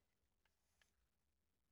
DR P1